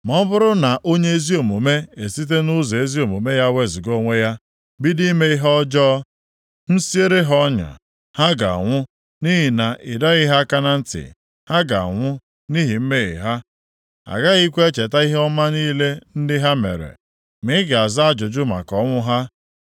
“Ma ọ bụrụ na onye ezi omume esite nʼụzọ ezi omume ya wezuga onwe ya bido ime ihe ọjọọ, m siere ha ọnya, + 3:20 Itinye ihe ịsọ ngọngọ nʼụzọ mmadụ ha ga-anwụ nʼihi na ị dọghị ha aka na ntị, ha ga-anwụ nʼihi mmehie ha. Agaghịkwa echeta ihe ọma niile ndị ha mere, ma ị ga-aza ajụjụ maka ọnwụ ha.